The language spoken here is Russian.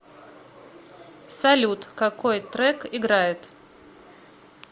салют какой трек играет